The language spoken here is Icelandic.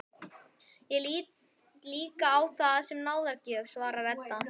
Ég lít líka á það sem náðargjöf, svarar Edda.